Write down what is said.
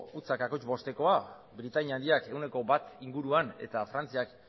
zero koma bostekoa britainia handiak ehuneko bat inguruan eta frantziak